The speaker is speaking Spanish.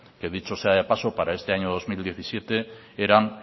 que dicho sea de paso para este año dos mil diecisiete eran